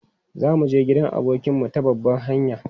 Za mu je gidan abokinmu ta babban hanya.